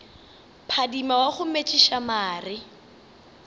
phadima wa go metšiša mare